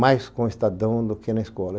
mais com o Estadão do que na escola.